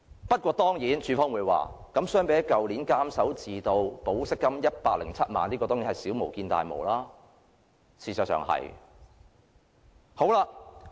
不過，當然署方會說，相比去年監守自盜、盜取保釋金107萬元的案件，這宗是小巫見大巫，事實的確如此。